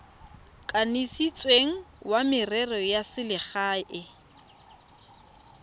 kanisitsweng wa merero ya selegae